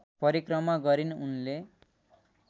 परिक्रमा गरिन् उनले